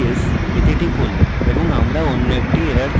send me this we click করুন এবং আমরা অন্য একটি error দেখি